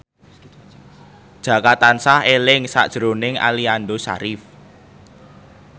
Jaka tansah eling sakjroning Aliando Syarif